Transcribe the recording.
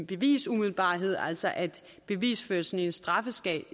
bevisumiddelbarhed altså at bevisførelsen i en straffesag